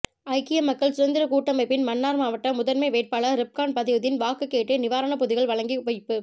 ஐக்கிய மக்கள் சுதந்திரக்கூட்டமைப்பின் மன்னார் மாவட்ட முதன்மை வேட்பாளர் றிப்கான் பதியுதீன் வாக்கு கேட்டு நிவாரணப்பொதிகள் வழங்கி வைப்பு